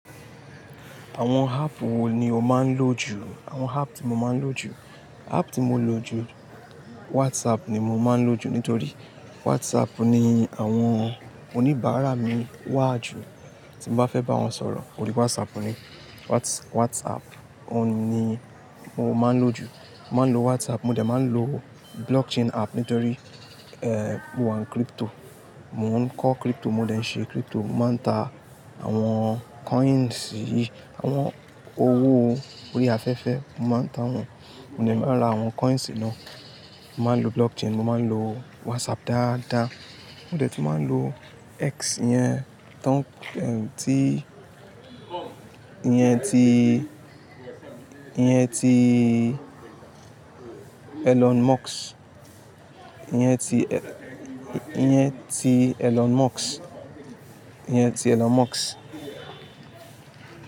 Àwọn app wo ni o máa ń lò jù? Àwọn app tí mo máa ń lò jù, app tí mo lò jù WhatsApp ni mo máa ń lò jù nítorí WhatsApp ni àwọn oníbàárà mi wà jù. Tí mo bá fẹ́ bá wọn sọ̀rọ̀, òrí WhatsApp ni, Whats-WhatsApp ni mo máa ń lò jù. Mo máa ń lo WhatsApp, mo dẹ̀ máa ń lo blockchain app nítorí, eh, mo wà ní crypto. Mò ń kọ́ crypto, mo dẹ̀ ń ṣe crypto, mo máa ń ta àwọn coins, àwọn owó orí afẹ́fẹ́, mo máa ń ta wọn. Mo dẹ̀ máa ra àwọn coins náà. Mo máa ń lo blockchain, mo máa ń lo WhatsApp dáadáa. Mo dẹ̀ tu máa ń lo X yẹn, tán, ẹ́, tí, iyẹn ti, iyẹn ti Elon Musk, iyẹn ti E-- yẹn ti Elon Musk, iyẹn ti Elon Musk.